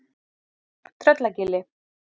Tröllagili